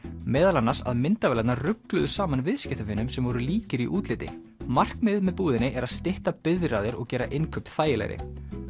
meðal annars að myndavélarnar rugluðu saman viðskiptavinum sem voru líkir í útliti markmiðið með búðinni er að stytta biðraðir og gera innkaup þægilegri